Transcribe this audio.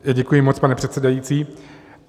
Děkuji moc, pane předsedající.